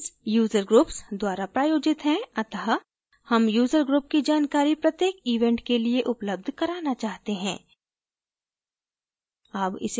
events user groups द्वारा प्रायोजित हैं अत: हम user group की जानकारी प्रत्येक events के लिए उपलब्ध कराना चाहते हैं